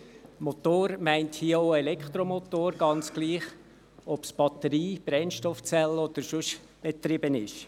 «Motor» meint hier auch Elektromotor, egal ob er mit Batterie, Brennstoffzellen oder sonst etwas betrieben wird.